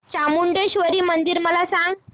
चामुंडेश्वरी मंदिर मला सांग